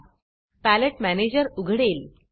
palette manager palette manager उघडेल